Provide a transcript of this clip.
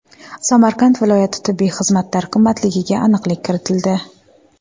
Samarqand viloyat tibbiy xizmatlar qimmatligiga aniqlik kiritildi.